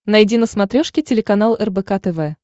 найди на смотрешке телеканал рбк тв